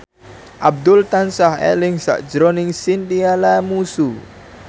Abdul tansah eling sakjroning Chintya Lamusu